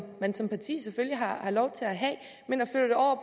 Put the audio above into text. man som parti selvfølgelig har har lov til at have